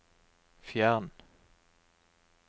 fjern